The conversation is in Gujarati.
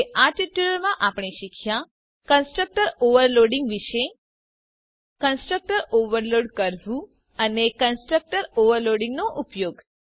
તો આ ટ્યુટોરીયલમાં આપણે શીખ્યા કન્સ્ટ્રક્ટર ઓવરલોડીંગ વિષે કન્સ્ટ્રક્ટર ઓવરલોડ કરવું અને કન્સ્ટ્રક્ટર ઓવરલોડીંગનો ઉપયોગ